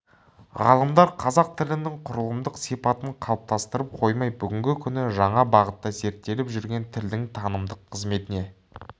ғалымдар қазақ тілінің құрылымдық сипатын қалыптастырып қоймай бүгінгі күні жаңа бағытта зерттеліп жүрген тілдің танымдық қызметіне